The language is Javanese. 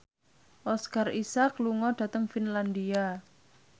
Oscar Isaac lunga dhateng Finlandia